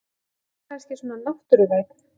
Ég er kannski svona náttúruvænn.